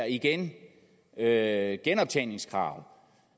igen at halvere genoptjeningskravet